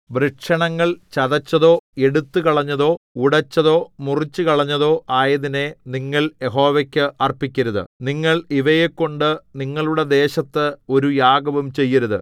വൃഷണങ്ങൾ ചതച്ചതോ എടുത്തുകളഞ്ഞതോ ഉടച്ചതോ മുറിച്ചുകളഞ്ഞതോ ആയതിനെ നിങ്ങൾ യഹോവയ്ക്ക് അർപ്പിക്കരുത് നിങ്ങൾ ഇവയെകൊണ്ട് നിങ്ങളുടെ ദേശത്ത് ഒരു യാഗവും ചെയ്യരുത്